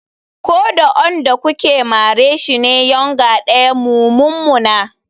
Ko da onrn da kuke mare shi ne yournger daya mu mummuna.